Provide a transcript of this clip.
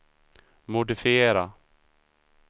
modifiera